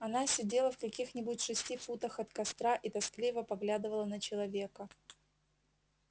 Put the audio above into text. она сидела в каких нибудь шести футах от костра и тоскливо поглядывала на человека